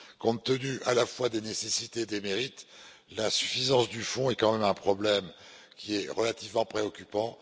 Compte tenu à la fois des nécessités et des mérites, l'insuffisance du fonds est quand même un problème qui est relativement préoccupant.